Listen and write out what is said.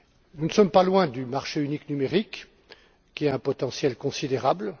Nous ne sommes pas loin du marché unique numérique, qui a un potentiel considérable.